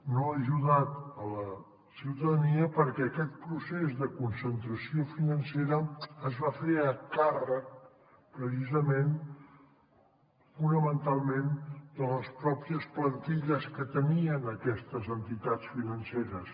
no ha ajudat la ciutadania perquè aquest procés de concentració financera es va fer a càrrec precisament fonamentalment de les pròpies plantilles que tenien aquestes entitats financeres